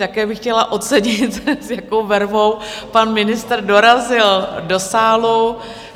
Také bych chtěla ocenit, s jakou vervou pan ministr dorazil do sálu.